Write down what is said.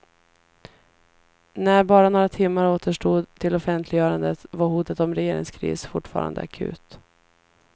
När bara några timmar återstod till offentliggörandet var hotet om regeringskris fortfarande akut.